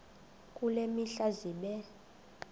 kule mihla zibe